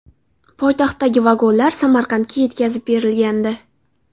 Poytaxtdagi vagonlar Samarqandga yetkazib berilgandi .